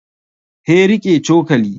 He riƙe cokali